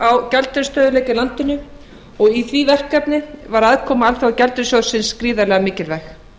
á gjaldeyrisstöðugleika í landinu og í því verkefni var aðkoma alþjóðagjaldeyrissjóðsins gríðarlega mikilvæg